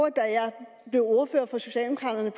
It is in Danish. det ordfører for socialdemokraterne